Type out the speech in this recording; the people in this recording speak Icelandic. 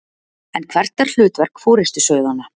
En hvert er hlutverk forystusauðanna?